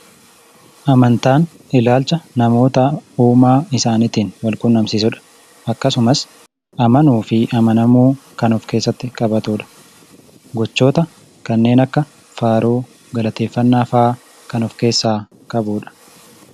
Amantaan ilaalcha namoota Uumaa isaaniitiin walquunnamsiisudha. Akkasumas, amanuu fi amanamuu kan of keessatti qabatudha. Gochoota kanneen akka: faaruu, galateeffannaa fa'a kan of keessaa qabudha.